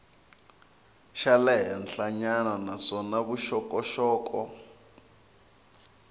xa le henhlanyana naswona vuxokoxoko